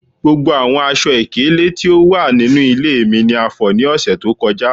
Gbogbo awọn aṣọ-ikele ti o wa ninu ile mi ni a fọ ​​ni ọsẹ to kọja